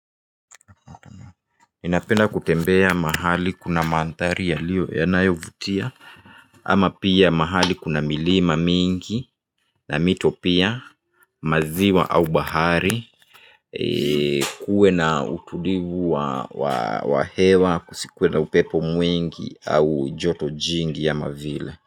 Ninapenda kutembea mahali kuna mandhari ya liyo yanayovutia ama pia mahali kuna milima mingi na mito pia maziwa au bahari kuwe na utulivu wa hewa kusikuwe na upepo mwingi au joto jingi ama vile.